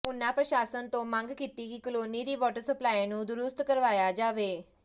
ਉਨ੍ਹਾਂ ਪ੍ਰਸ਼ਾਸਨ ਤੋਂ ਮੰਗ ਕੀਤੀ ਕਿ ਕਲੋਨੀ ਦੀ ਵਾਟਰ ਸਪਲਾਈ ਨੂੰ ਦਰੁਸਤ ਕਰਵਾਇਆ ਜਾਵੇ